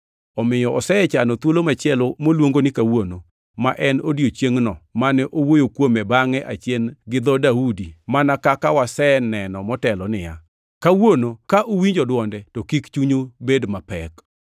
Omiyo osechano thuolo machielo moluongo ni Kawuono, ma en e odiechiengno mane owuoyo kuome bangʼe achien gi dho Daudi, mana kaka waseneno motelo, niya, “Kawuono ka uwinjo dwonde to kik chunyu bed mapek.” + 4:7 \+xt Zab 95:7,8\+xt*